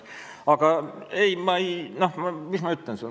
Aga mis ma sulle ütlen?